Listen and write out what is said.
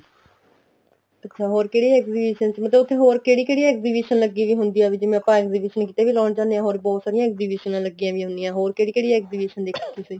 ਅੱਛਾ ਹੋਰ ਕਿਹੜੀ exhibition ਸੀ ਮਤਲਬ ਉੱਥੇ ਹੋਰ ਕਿਹੜੀ ਕਿਹੜੀ exhibition ਲੱਗੀ ਵੀ ਹੁੰਦੀ ਆ ਜਿਵੇਂ ਆਪਾਂ exhibition ਕਿੱਥੇ ਲਾਉਣ ਜਾਂਦੇ ਹਾਂ ਹੋਰ ਵੀ ਬਹੁਤ ਸਾਰੀਆਂ exhibition ਲੱਗੀਆਂ ਵੀ ਹੁਣੀਆਂ ਏ ਹੋਰ ਕਿਹੜੀ ਕਿਹੜੀ exhibition ਦੇਖੀ ਤੁਸੀਂ